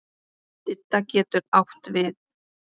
Didda getur átt við